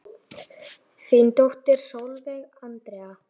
Þín dóttir Sólveig Andrea.